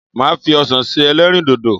Màá fi ọsàn se ẹlẹ́rìndòdò.